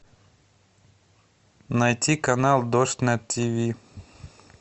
найти канал дождь на тиви